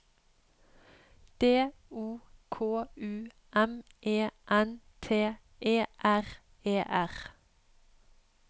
D O K U M E N T E R E R